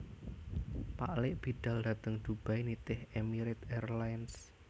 Paklik bidal dateng Dubai nitih Emirate Airlines